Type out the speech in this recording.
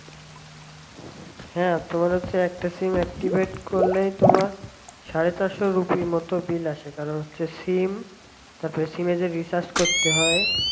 হ্যাঁ তোমার হচ্ছে একটা sim activate করলেই তোমার সাড়ে চারশোর উপরে মতন bill আসে কারণ হচ্ছে sim তারপর sim এ যে recharge করতে হয়